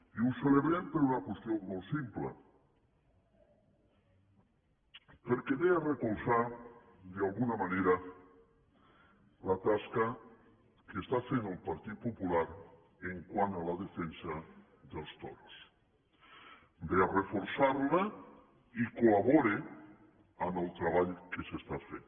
i ho celebrem per una qüestió molt simple perquè ve a recolzar d’alguna manera la tasca que està fent el partit popular quant a la defensa dels toros ve a reforçar la i col·labora en el treball que s’està fent